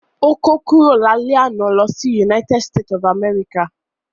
Ó kó kúrò lálẹ́ àná lọ sí United state of America